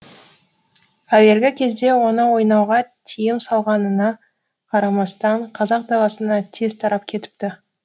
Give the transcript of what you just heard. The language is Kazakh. әуелгі кезде оны ойнауға тиым салғанына қарамастан қазақ даласына тез тарап кетіпті